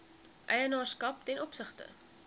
eienaarskap ten opsigte